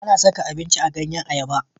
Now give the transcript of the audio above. A na saka abinci a ganyen ayaba